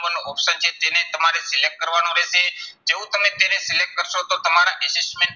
નું option છે તેને તમારે select કરવાનું રહેશે. જેવું તમે તેને select કરશો તો તમારા assessment